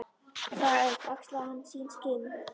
Dag einn axlaði hann sín skinn.